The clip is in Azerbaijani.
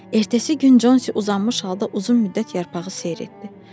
Ertəsi gün Consi uzanmış halda uzun müddət yarpağı seyr etdi.